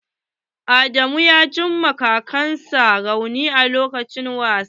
Adamu ya ji ma kansa rauni lokacin wasa.